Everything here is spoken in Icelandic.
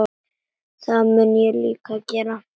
Það mun ég líka gera.